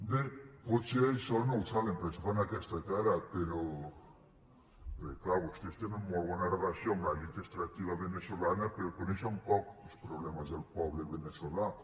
bé potser això no ho saben per això fan aquesta cara però perquè és clar vostès tenen molt bona relació amb l’elit extractiva veneçolana però coneixen poc els problemes del poble veneçolà